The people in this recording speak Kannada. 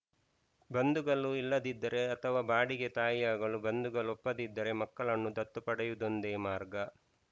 ಬಂಧುಗಳು ಇಲ್ಲದಿದ್ದರೆ ಅಥವಾ ಬಾಡಿಗೆ ತಾಯಿಯಾಗಲು ಬಂಧುಗಳು ಒಪ್ಪದಿದ್ದರೆ ಮಕ್ಕಳನ್ನು ದತ್ತು ಪಡೆಯುವುದೊಂದೇ ಮಾರ್ಗ